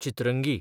Chitrangi